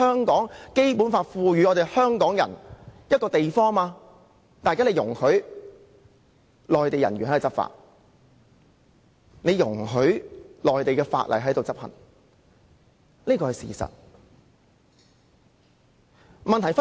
《基本法》賦予港人權力的範圍內，現在卻容許內地人員執法，並容許內地法例在香港適用。